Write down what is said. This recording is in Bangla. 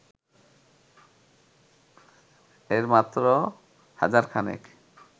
এর মাত্র হাজারখানেক